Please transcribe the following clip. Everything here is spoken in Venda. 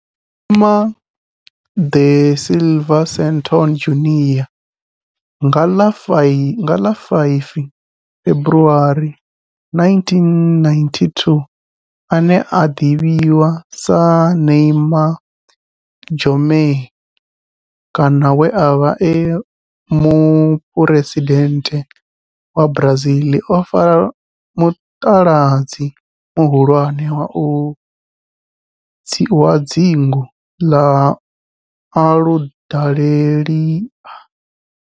Neymar da Silva Santos Junior nga ḽa 5 February 1992, ane a ḓivhiwa sa Neymar Jeromme kana we a vha e muphuresidennde wa Brazil o fara mutaladzi muhulwane wa dzingu na Aludalelia.